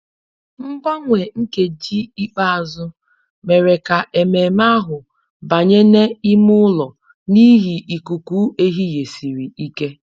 Mgbanwe nkeji ikpeazụ mere ka ememe ahụ banye n'ime ụlọ n'ihi ikuku ehihie siri ike